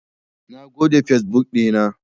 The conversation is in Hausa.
Na goge fesbuk ɗina.